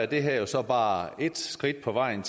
det her så bare et skridt på vejen